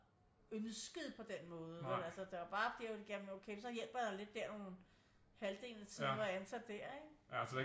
Ønsket på den måde vel altså der jo bare det okay jamen så hjælper jeg lidt der halvdelen af tiden når jeg er ansat der ikke